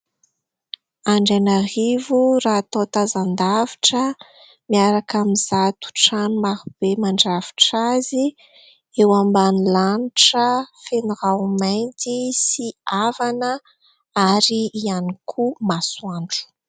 Andrainarivo raha atao tazan-davitra miaraka amin'izato trano marobe mandrafitra azy eo ambanin'ny lanitra feno raho-mainty sy avana ary ihany koa masoandro.